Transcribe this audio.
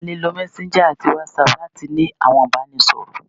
À le lò messenger ati whatsapp latí ní àwọn ibanisọrọ